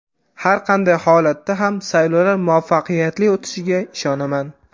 Har qanday holatda ham saylovlar muvaffaqiyatli o‘tishiga ishonaman.